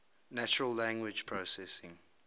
natural language processing